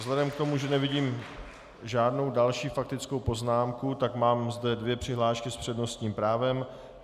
Vzhledem k tomu, že nevidím žádnou další faktickou poznámku, tak mám zde dvě přihlášky s přednostním právem.